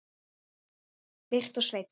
Birta og Sveinn.